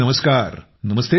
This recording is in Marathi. मयूरजी नमस्कार